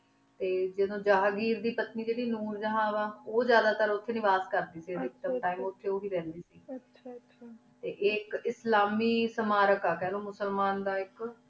T ਜਾਦੁਨ ਜਨ੍ਹਾਂ ਘਿਰ ਦੇ ਪਤਨੀ ਜੀਰੀ ਨੂਰ ਜ਼ਹਨ ਵਾ ਉਜਾੜਾ ਤੇਰ ਉਠੀ ਨਿਵਾਸ ਕਰ ਦੇ ਸੇ ਜਾਦਾ ਟੀਮੇ ਉਠੀ ਉਹੇ ਰਹਨ ਦੇ ਸੇ ਗੇ ਆਚਾ ਟੀ ਆਇਕ ਇਸਲਾਮੀ ਸੰਰਕ ਆ ਖ ਲੋ ਮੁਸਿਲਮਾਂ ਦਾ ਆਇਕ